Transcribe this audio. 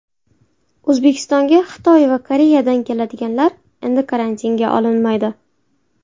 O‘zbekistonga Xitoy va Koreyadan kelganlar endi karantinga olinmaydi.